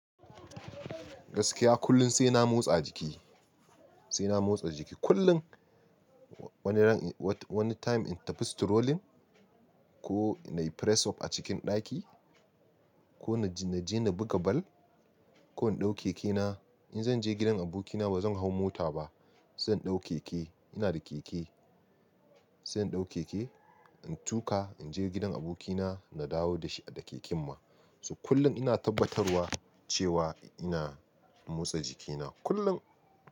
Gaskiya kullum sai na motsa jiki, sai na motsa jiki kullum. Wani time in tafi strolling ko nayi press up a cikin ɗaki ko na je na buga ball ko in ɗau keke na. In zan je gidan abokina ba zan hau mota ba, sai in ɗau keke. Ina da keke, sai in ɗau keke, in tuƙa in je gidan abokina na dawo da keken ma. To kullum ina tabbatarwa cewa ina motsa jikina kullum.